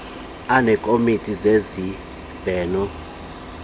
aneekomiti zezib heno